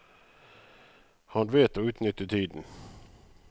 Han vet å utnytte tiden.